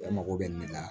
E mago bɛ nin na